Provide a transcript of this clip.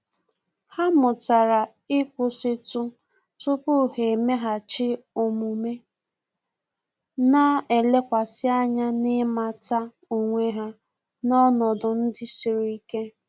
Há mụ́tàrà íkwụ́sị́tụ tupu há èméghàchí omume, nà-èlékwasị ányá na ị́màtà onwe ha n’ọnọdụ ndị siri ike.